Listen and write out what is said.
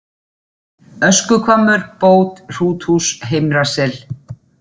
Öskuhvammur, Bót, Hrúthús, Heimra-Sel